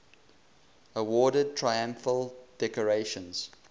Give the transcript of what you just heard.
awarded triumphal decorations